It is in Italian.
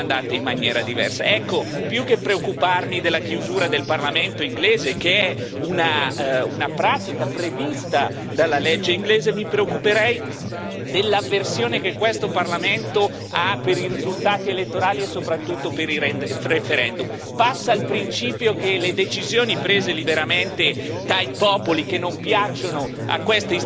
Più che preoccuparmi della chiusura del parlamento inglese, che è una pratica prevista dalla legge inglese, mi preoccuperei dell'avversione che questo Parlamento ha per i risultati elettorali e soprattutto per i referendum passa il principio che le decisioni prese liberamente dai popoli che non piacciono a queste istituzioni devono essere